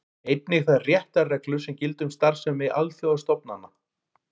Einnig þær réttarreglur sem gilda um starfsemi alþjóðastofnana.